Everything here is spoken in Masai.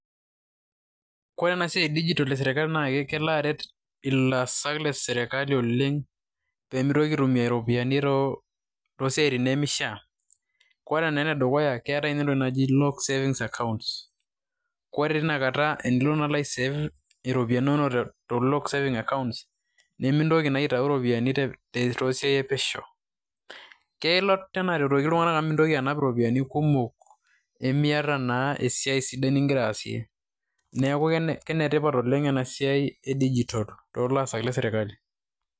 kore ena siai e digitalv esirkali naa kelo aret ilaasak lesiai le sirkali oleng, pee miitoki aitumia iropiyiani too wuejitin nemeishaa. ore naa ene dukuya keetae naa entoki naji loan savings account .ore teina kata tenilo naa ai save iropiyiani inonok te lock savings account ,nemintoki naa aitau iropiyiani toosiai e pesho. kelo naa aretoki iltung'anak amu mintoki anap iropiyiani kumok. nimiata naa esiai sidai nigira aasie. neeku kenetipat oleng ena siai e digital ,toolaasak le sirkali.